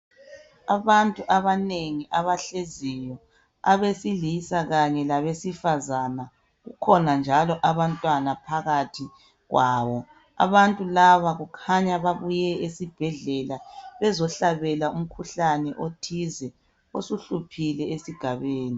Abantu abanengi abahleziyo, abesilisa kanye labesifazana. Kukhona njalo abantwana phakathi kwawo. Abantu laba kukhanya babuye esibhedlela bezohlabela umkhuhlane othize osuhluphile esigabeni.